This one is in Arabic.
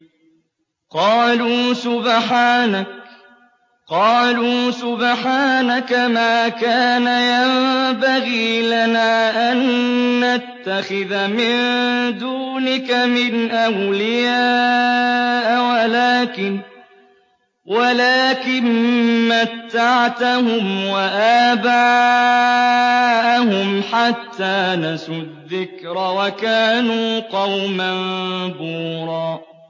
قَالُوا سُبْحَانَكَ مَا كَانَ يَنبَغِي لَنَا أَن نَّتَّخِذَ مِن دُونِكَ مِنْ أَوْلِيَاءَ وَلَٰكِن مَّتَّعْتَهُمْ وَآبَاءَهُمْ حَتَّىٰ نَسُوا الذِّكْرَ وَكَانُوا قَوْمًا بُورًا